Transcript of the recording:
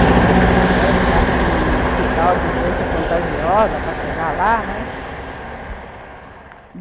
Passa no cemitério, passa num hospital de doença contagiosa para chegar lá, né? Uhum.